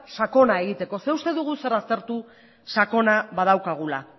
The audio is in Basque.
sakona egiteko zeren eta uste dugu zer aztertu sakona badaukagula